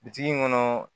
Bitigi in kɔnɔ